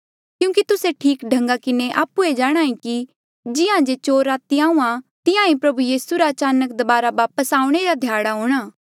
क्यूंकि तुस्से ठीक ढन्गा किन्हें आप्हुए जाणहां ऐें कि जिहां जे चोर राती आहूँआं तिहां ईं प्रभु यीसू रा अचानक दबारा वापस आऊणें रा ध्याड़ा हूंणा